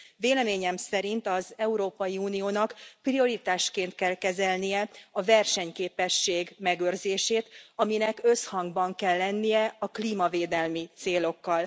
Véleményem szerint az Európai Uniónak prioritásként kell kezelnie a versenyképesség megőrzését, aminek összhangban kell lennie a klímavédelmi célokkal.